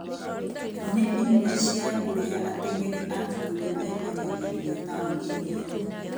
nĩ imwe cia kũrĩa ateng'eri a bũrũri memĩnyagĩria taũni-inĩ iyo.